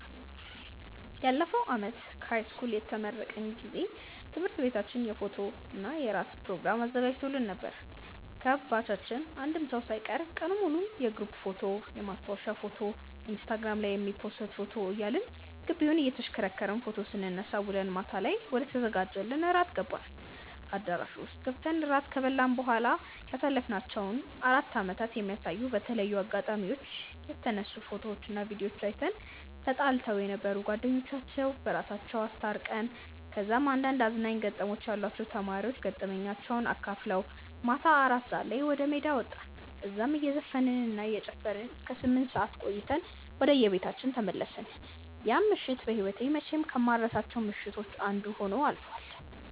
ያለፈው አመት ከሀይስኩል የተመረቅን ጊዜ ትምህርት ቤታችን የፎቶና የራት ፕሮግራም አዘጋጅቶልን ነበር። ከባቻችን አንድም ሰው ሳይቀር ቀኑን ሙሉ የግሩፕ ፎቶ፣ የማስታወሻ ፎቶ፣ ኢንስታግራም ላይ የሚፖሰት ፎቶ እያልን ግቢውን እየተሽከረከርን ፎቶ ስንነሳ ውለን ማታ ላይ ወደተዘጋጀልን ራት ገባን። አዳራሹ ውስጥ ገብተን ራት ከበላን በኋላ ያሳለፍናቸውን አራት አመታት የሚያሳዩ በተለያዩ አጋጣሚዎች የተነሱ ፎቶዎችና ቪድዮዎችን አይተን፣ ተጣልተው የነበሩ ጓደኞቻችን በራሳቸው አስታርቀን፣ ከዛም አንዳንድ አዝናኝ ገጠመኞች ያሏቸው ተማሪዎች ገጠመኛቸውን አካፍለውን ማታ አራት ሰዓት ላይ ወደሜዳ ወጣን። እዛም እየዘፈንን እና እየጨፈርን እስከ ስምንት ሰዓት ቆይተን ወደየቤታችን ተመለስን። ያቺ ምሽት በህይወቴ መቼም ከማልረሳቸው ምሽቶች አንዱ ሆኖ አልፏል።